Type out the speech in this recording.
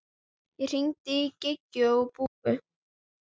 Ég hringdi í Gígju og Búa.